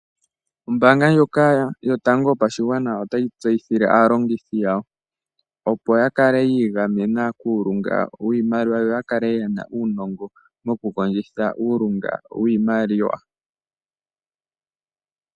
Ombaanga ndjoka yotango yopashigwana otayi tseyithile aalongithi yawo opo yakale yiigamena kuulunga wiimaliwa, yo yakale yena uunongo mokukondjitha uulunga wiimaliwa.